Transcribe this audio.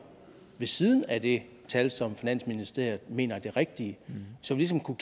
ved siden af det tal som finansministeriet mener er det rigtige så vi ligesom kunne